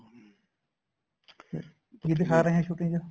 ਕੀ ਦਿਖਾ ਰਹੇ ਏ shooting ਚ